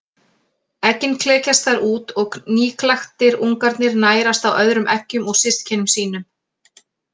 Eggin klekjast þar út og nýklaktir ungarnir nærast á öðrum eggjum og systkinum sínum.